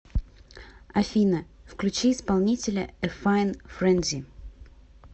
афина включи исполнителя э файн френзи